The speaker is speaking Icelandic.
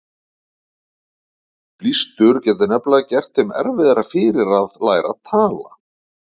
Blístur getur nefnilega gert þeim erfiðara fyrir að læra að tala.